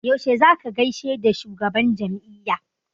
Yaushe za ka gaishe da shugaban jam'iyya?